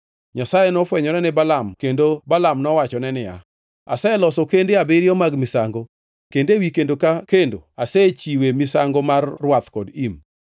Nyasaye nofwenyore ne Balaam kendo Balaam nowachone niya, “Aseloso kende abiriyo mag misango, kendo ewi kendo ka kendo asechiwe misango mar rwath kod im.”